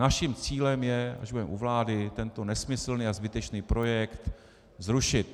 Naším cílem je, až budeme u vlády, tento nesmyslný a zbytečný projekt zrušit.